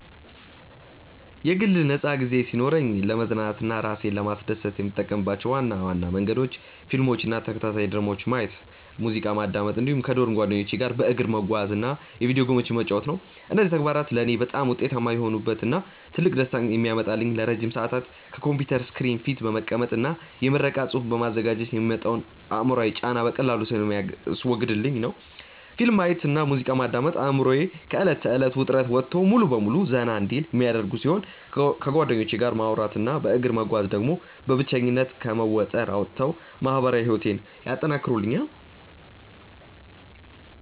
የግል ነፃ ጊዜ ሲኖረኝ ለመዝናናት እና እራሴን ለማስደሰት የምጠቀምባቸው ዋና ዋና መንገዶች ፊልሞችን እና ተከታታይ ድራማዎችን ማየት፣ ሙዚቃ ማዳመጥ እንዲሁም ከዶርም ጓደኞቼ ጋር በእግር መጓዝ እና የቪዲዮ ጌሞችን መጫወት ናቸው። እነዚህ ተግባራት ለእኔ በጣም ውጤታማ የሆኑበት እና ትልቅ ደስታን የሚያመጡልኝ ለረጅም ሰዓታት ከኮምፒውተር ስክሪን ፊት በመቀመጥ እና የምረቃ ፅሁፍ በማዘጋጀት የሚመጣውን አእምሯዊ ጫና በቀላሉ ስለሚያስወግዱልኝ ነው። ፊልም ማየት እና ሙዚቃ ማዳመጥ አእምሮዬ ከእለት ተእለት ውጥረት ወጥቶ ሙሉ በሙሉ ዘና እንዲል የሚያደርጉ ሲሆን፣ ከጓደኞቼ ጋር ማውራት እና በእግር መጓዝ ደግሞ በብቸኝነት ከመወጠር አውጥተው ማህበራዊ ህይወቴን ያጠናክሩልኛል።